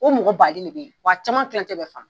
O mɔgɔ bande ne be yen wa caman kilancɛ bɛ fan